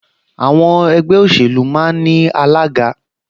Àwọn ẹgbẹ́ òṣèlú máa ń ní alága